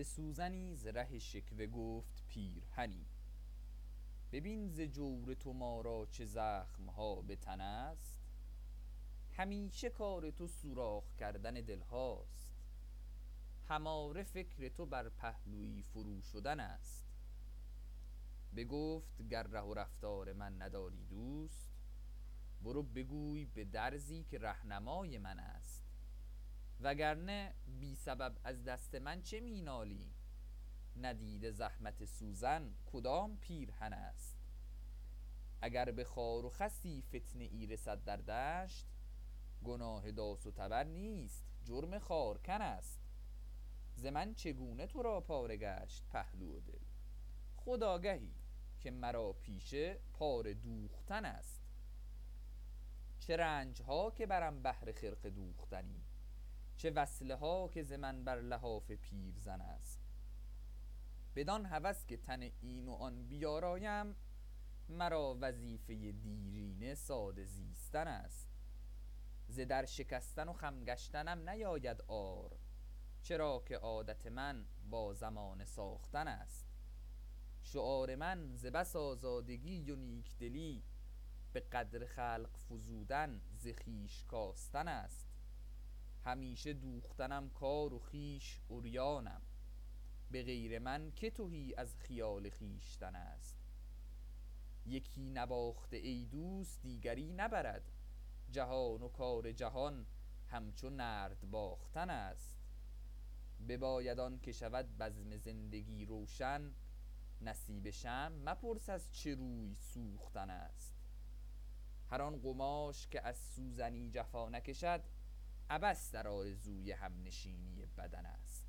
به سوزنی ز ره شکوه گفت پیرهنی ببین ز جور تو ما را چه زخمها بتن است همیشه کار تو سوراخ کردن دلهاست هماره فکر تو بر پهلویی فرو شدن است بگفت گر ره و رفتار من نداری دوست برو بگوی بدرزی که رهنمای من است وگر نه بی سبب از دست من چه مینالی ندیده زحمت سوزن کدام پیرهن است اگر به خار و خسی فتنه ای رسد در دشت گناه داس و تبر نیست جرم خارکن است ز من چگونه ترا پاره گشت پهلو و دل خود آگهی که مرا پیشه پاره دوختن است چه رنجها که برم بهر خرقه دوختنی چه وصله ها که ز من بر لحاف پیرزن است بدان هوس که تن این و آن بیارایم مرا وظیفه دیرینه ساده زیستن است ز در شکستن و خم گشتنم نیاید عار چرا که عادت من با زمانه ساختن است شعار من ز بس آزادگی و نیکدلی بقدر خلق فزودن ز خویش کاستن است همیشه دوختنم کار و خویش عریانم بغیر من که تهی از خیال خویشتن است یکی نباخته ای دوست دیگری نبرد جهان و کار جهان همچو نرد باختن است بباید آنکه شود بزم زندگی روشن نصیب شمع مپرس از چه روی سوختن است هر آن قماش که از سوزنی جفا نکشد عبث در آرزوی همنشینی بدن است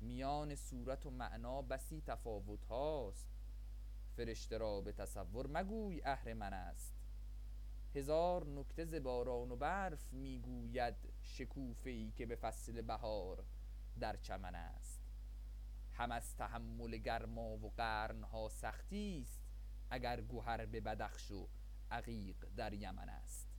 میان صورت و معنی بسی تفاوتهاست فرشته را بتصور مگوی اهرمن است هزار نکته ز باران و برف میگوید شکوفه ای که به فصل بهار در چمن است هم از تحمل گرما و قرنها سختی است اگر گهر به بدخش و عقیق در یمن است